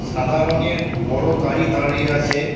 সাদা রঙের বড় গাড়ি দাঁড়িয়ে আছে।